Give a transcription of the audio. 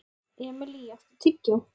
Emilý, áttu tyggjó?